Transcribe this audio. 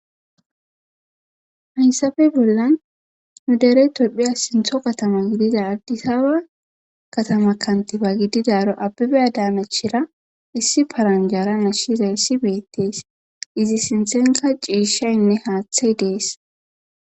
Haysape bollan nu dere tophiya sintho katama gidida adisaba katama kantiba gididaara abebe adanachira issi paranjara nashizayssi betes izi sinthenkka ciishaynne haathey de7es.